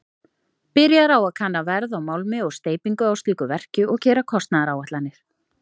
Byrjar á að kanna verð á málmi og steypingu á slíku verki og gera kostnaðaráætlanir.